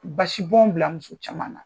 Basi bɔn bila muso caman na.